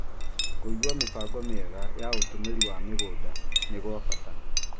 Kũiga mĩbango mĩega ya ũtũmĩri wa mĩgũnda nĩ gwa bata